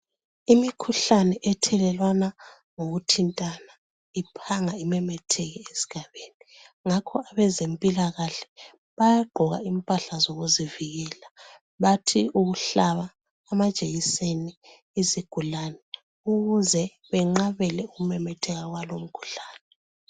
Imikhuhlane ethelelwana ngokuthintana, iphanga imemetheke esigabeni. Ngakho abezempilakahle bayagqoka impahla zokuzivikela. Bathi ukuhlaba amajekiseni izigulane ukuze benqabele ukumemetheka kwalumkhuhlane.